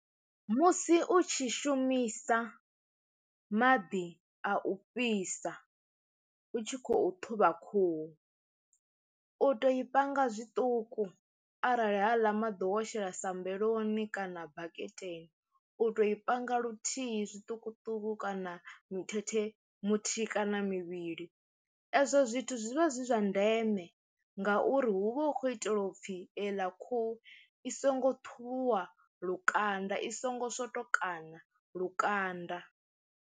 Musi u tshi shumisa maḓi a u fhisa u tshi khou ṱhuvha khuhu, u to i panga zwiṱuku arali haaḽa maḓi wo shela sambeloni kana baketeni u to i panga luthihi zwiṱukuṱuku kana mithethe muthihi kana mivhili, ezwo zwithu zwivha zwi zwa ndeme ngauri hu vha hu khou itelwa u pfhi ela khuhu i songo ṱhuvhuwa lukanda i songo swotokana lukanda.